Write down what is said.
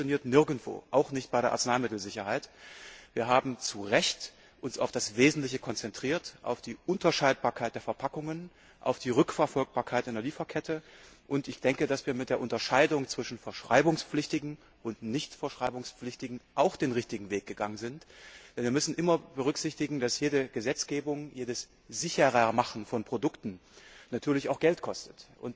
Das funktioniert nirgendwo, auch nicht bei der Arzneimittelsicherheit. Wir haben uns zu Recht auf das Wesentliche konzentriert, auf die Unterscheidbarkeit der Verpackungen, auf die Rückverfolgbarkeit in der Lieferkette. Mit der Unterscheidung zwischen verschreibungspflichtigen und nicht verschreibungspflichtigen Medikamenten sind wir auch den richtigen Weg gegangen, denn wir müssen immer berücksichtigen, dass jede Gesetzgebung, jedes Sicherer Machen von Produkten natürlich auch Geld kostet.